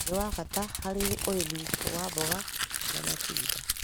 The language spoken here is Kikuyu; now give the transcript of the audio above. nĩ wa bata harĩ ũrĩmi wa mboga na matunda.